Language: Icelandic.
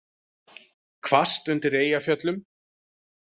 Hvasst undir Eyjafjöllum